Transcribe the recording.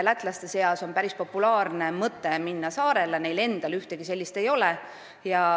Lätlaste seas on päris populaarne mõte minna saarele, sest neil endal ühtegi sellist ei ole.